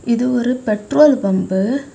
இது ஒரு petrol pump .